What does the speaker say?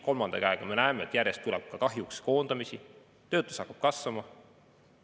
Kolmandaks, me näeme, et järjest tuleb kahjuks koondamisi, töötus hakkab kasvama.